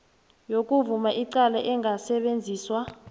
yokuvuma icala engasetjenziswa